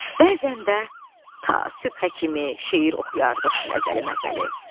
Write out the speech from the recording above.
Bəzən də ta sübhə kimi şeir oxuyardıq məzəli-məzəli.